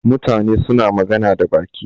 Mutane suna magana da baki.